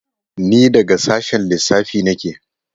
Ni daga sashen lissafi nake.